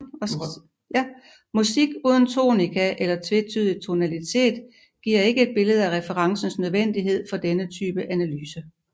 Musik uden tonika eller tvetydig tonalitet giver ikke et billede af referencens nødvendighed for denne type analyse